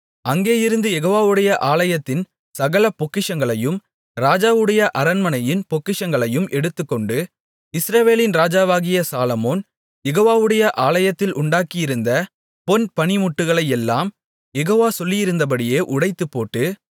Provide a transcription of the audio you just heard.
அங்கேயிருந்து யெகோவாவுடைய ஆலயத்தின் சகல பொக்கிஷங்களையும் ராஜாவுடைய அரண்மனையின் பொக்கிஷங்களையும் எடுத்துக்கொண்டு இஸ்ரவேலின் ராஜாவாகிய சாலொமோன் யெகோவாவுடைய ஆலயத்தில் உண்டாக்கியிருந்த பொன் பணிமுட்டுகளையெல்லாம் யெகோவா சொல்லியிருந்தபடியே உடைத்துப்போட்டு